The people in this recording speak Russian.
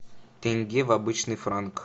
тенге в обычный франк